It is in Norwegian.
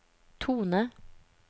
tone